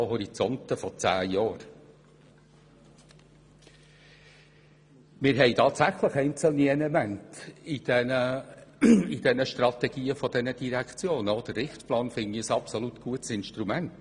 In den Strategien der Direktionen haben wir tatsächlich einzelne Elemente, und auch den Richtplan halte ich für ein sehr gutes Instrument.